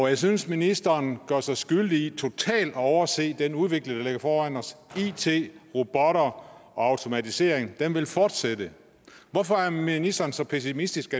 jeg synes at ministeren gør sig skyldig i totalt at overse at den udvikling der ligger foran os med it robotter og automatisering vil fortsætte hvorfor er ministeren så pessimistisk